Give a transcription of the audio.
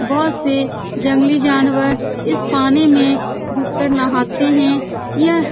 बहुत से जंगली जानवर इस पानी मे डूबकर नहाते हैं। यह --